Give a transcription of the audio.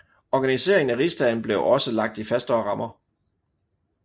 Organiseringen af rigsdagen blev også lagt i fastere rammer